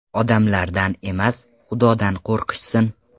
Odamlardan emas, Xudodan qo‘rqishsin!